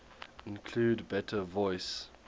include better voice